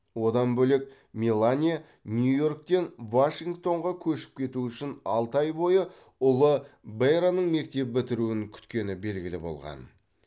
одан бөлек мелания нью йорктен вашингтонға көшіп кету үшін алты ай бойы ұлы бэрронның мектеп бітіруін күткені белгілі болған